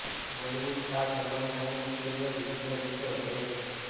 Bollywood star Salman ખાનની મુશ્કેલીઓ દિવસેને દિવસે વધી રહી છે